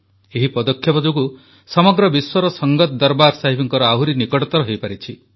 ଏହି ପଦକ୍ଷେପ ଯୋଗୁଁ ସମଗ୍ର ବିଶ୍ୱର ସଙ୍ଗତ ଦରବାର ସାହିବଙ୍କ ଆହୁରି ନିକଟତର ହୋଇପାରିଛି